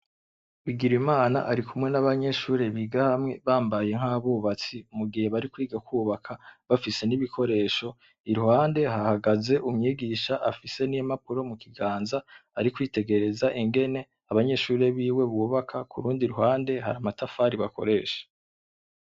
Bigirimana ari kumwe n'abanyeshuri biga hamwe bambaye nk'abubatsi mu gihe bari kwiga kubaka bafise n'ibikoresho iruhande hahagaze umwigisha afise n'impapuro mu kiganza ari kwitegereza ingene abanyeshure biwe bubaka kurundi ruhande hari amatafari bakoresha.